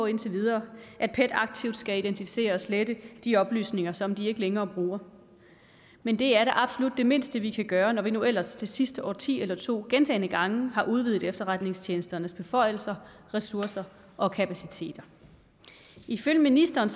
indtil videre at pet aktivt skal identificere og slette de oplysninger som de ikke længere bruger men det er da absolut det mindste vi kan gøre når vi nu ellers det sidste årti eller to gentagne gange har udvidet efterretningstjenesternes beføjelser ressourcer og kapacitet ifølge ministeren